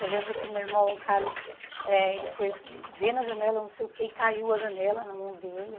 Eu lembro que o meu irmão Carlos, eh ele foi ver na janela, não sei o quê, e caiu a janela na mão dele.